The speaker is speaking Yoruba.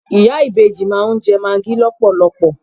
Ìyá ìbejì máa ń jẹ magi lọpọlọpọ.